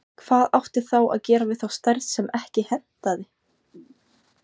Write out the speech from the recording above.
Hvað átti þá að gera við þá stærð sem ekki hentaði?